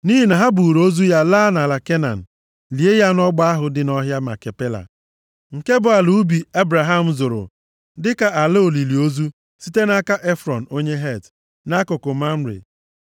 Nʼihi na ha buuru ozu ya laa nʼala Kenan, lie ya nʼọgba ahụ dị nʼọhịa Makipela, nke bụ ala ubi Ebraham zụrụ dịka ala olili ozu, site nʼaka Efrọn, onye Het; nʼakụkụ Mamre.